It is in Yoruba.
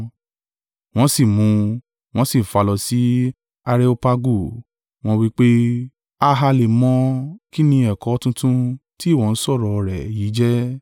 Wọ́n sì mú un, wọ́n sì fà á lọ sí Areopagu, wọ́n wí pé, “A ha lè mọ̀ kín ni ẹ̀kọ́ tuntun tí ìwọ ń sọ̀rọ̀ rẹ̀ yìí jẹ́?